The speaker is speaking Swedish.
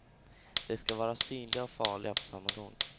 De ska vara synliga och farliga på samma gång.